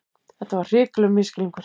Þetta var hrikalegur misskilningur!